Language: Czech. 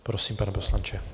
Prosím, pane poslanče.